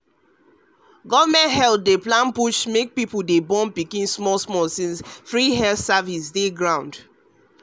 government health plan dey push make people dey born pikin small small since free health service dey ground